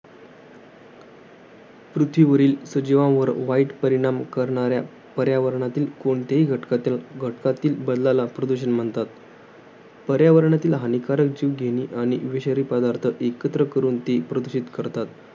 पृथ्वीवरील सजीवांवर वाईट परिणाम करणाऱ्या, पर्यावरणातील कोणत्याही घटकातल्या, घटकातील बदलला प्रदूषण म्हणतात. पर्यावरणातील हानिकारक, जीवघेणी आणि विषारी पदार्थ एकत्र करून ती प्रदूषित करतात.